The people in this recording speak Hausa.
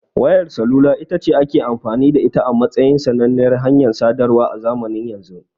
Wayar salula itace ake amfani da ita a matsayin sananniyar hanyar sadarwa a zamanin yanzu.